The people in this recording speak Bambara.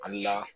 Ali n'a